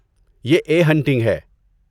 یہ 'a hunting' ہے۔